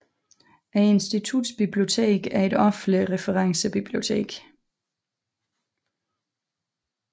Instituttets bibliotek er et offentligt referencebibliotek